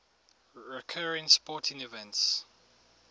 recurring sporting events